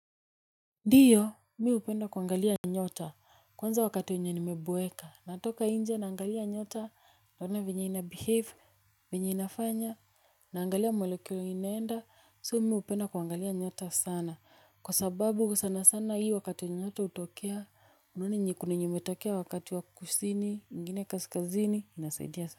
Ndiyo, mi upenda kuangalia nyota, kwanza wakati wenye nimeboeka, natoka inje naangalia nyota, naona venye ina behave, venye inafanya, naangalia molekuli inaenda, soo mi upenda kuangalia nyota sana, kwa sababu sana sana hii wakati wenye nyota utokea, unaona kuna yenye imetokea wakati wakati wakusini, ingine kaskazini, inasaidia sana.